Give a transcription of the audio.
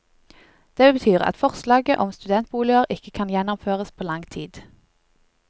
Det betyr at forslaget om studentboliger ikke kan gjennomføres på lang tid.